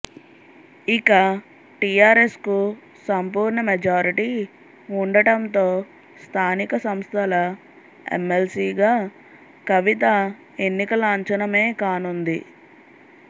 ఇక టీఆర్ఎస్కు సంపూర్ణ మెజార్టీ ఉండటంతో స్థానిక సంస్థల ఎమ్మెల్సీగా కవిత ఎన్నిక లాంఛనమేకానుంది